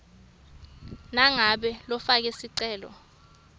nangabe lofake sicelo